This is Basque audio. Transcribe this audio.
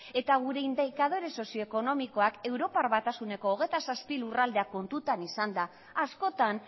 eta gure indikadore sozioekonomikoak europar batasuneko hogeita zazpi lurraldeak kontutan izanda askotan